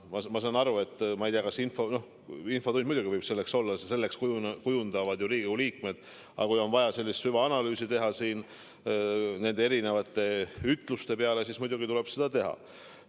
" Ma ei tea, kas infotund peab olema selline koht, kus teha sellist ütluste süvaanalüüsi – see võib küll nii olla, seda kujundavad ju Riigikogu liikmed –, aga kui on vaja, siis muidugi tuleb seda teha.